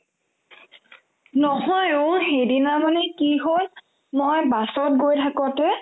নহয় অ' সিদিনামানে কি হ'ল মই বাছত গৈ থাকতে